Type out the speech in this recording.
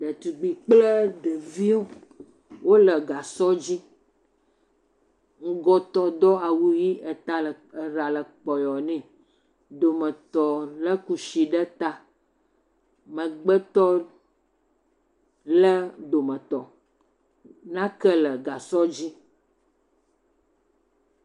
Detugbi ɖevi eve wole gasɔ dzi. Ŋgɔtɔ do awu ʋi eta, eɖa le kpɔyɔɔ nɛ. Dometɔ é kushi ɖe ta, Megbetɔ lé dometɔ. Nake le gasɔ dzi.